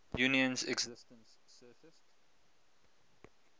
union's existence surfaced